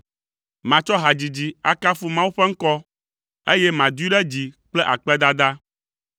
Matsɔ hadzidzi akafu Mawu ƒe ŋkɔ, eye madoe ɖe dzi kple akpedada.